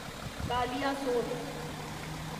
Kaliasot